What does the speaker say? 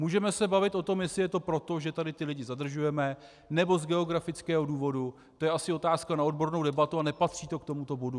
Můžeme se bavit o tom, jestli je to proto, že tady ty lidi zadržujeme, nebo z geografického důvodu, to je asi otázka na odbornou debatu a nepatří to k tomuto bodu.